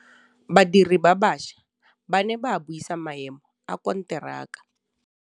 Badiri ba baša ba ne ba buisa maêmô a konteraka.